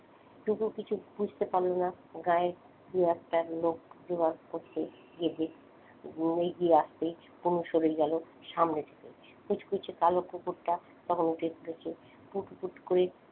টুকু কিছু বুঝতে পারল না গায়ের একটা লোক এগিয়ে আসতেই মুহু সরে গেল সামনে থেকে কুচকুচে কালো কুকুরটা তখন উঠে পড়েছে পুট পুট করে,